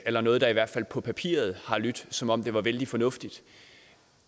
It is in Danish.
eller noget der i hvert fald på papiret har lydt som om det var vældig fornuftigt